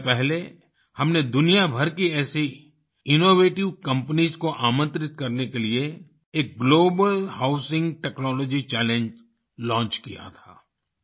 कुछ समय पहले हमने दुनियाभर की ऐसी इनोवेटिव कंपनीज को आमंत्रित करने के लिए एक global housing technology challenge launch किया था